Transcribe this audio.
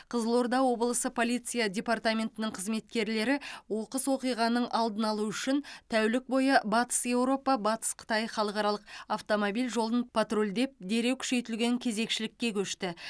қызылорда облысы полиция департаментінің қызметкерлері оқыс оқиғаның алдын алу үшін тәулік бойы батыс еуропа батыс қытай халықаралық автомобиль жолын патрульдеп дереу күшейтілген кезекшілікке көшті